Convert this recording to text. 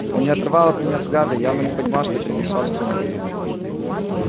он не отрывал от меня взгляда и явно не понимал что перемешал в сумрак